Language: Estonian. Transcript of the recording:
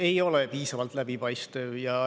Ei ole piisavalt läbipaistev.